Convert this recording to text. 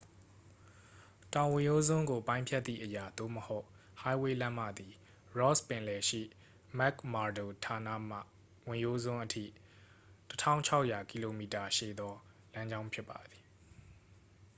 တောင်ဝင်ရိုးစွန်းကိုပိုင်းဖြတ်သည့်အရာ သို့မဟုတ် ဟိုင်းဝေးလမ်းမ သည် ross ပင်လယ်ရှိ mcmurdo ဌာနမှ ဝင်ရိုးစွန်းအထိ ၁၆၀၀ km ရှည်သောလမ်းကြောင်းဖြစ်ပါသည်။